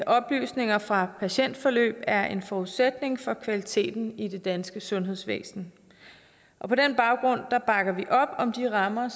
oplysninger fra patientforløb er en forudsætning for kvaliteten i det danske sundhedsvæsen på den baggrund bakker vi op om de rammer